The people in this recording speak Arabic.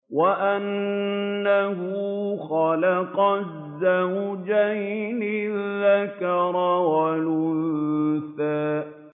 وَأَنَّهُ خَلَقَ الزَّوْجَيْنِ الذَّكَرَ وَالْأُنثَىٰ